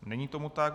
Není tomu tak.